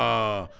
Urra!